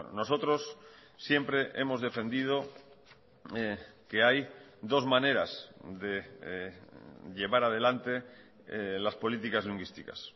nosotros siempre hemos defendido que hay dos maneras de llevar adelante las políticas lingüísticas